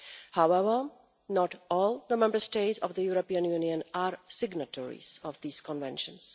However, not all the Member States of the European Union are signatories of these conventions.